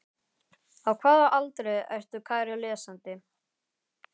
Á hvaða aldri ertu kæri lesandi?